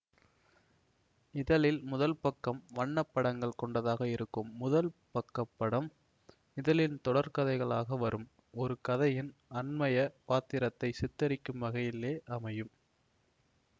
இதழில் முதல் பக்கம் வண்ண படங்கள் கொண்டதாக இருக்கும் முதல் பக்க படம் இதழின் தொடர்கதைகளாக வரும் ஒரு கதையின் அன்மைய பாத்திரத்தை சித்தரிக்கும் வகையிலே அமையும்